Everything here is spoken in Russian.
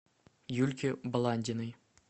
юльки баландиной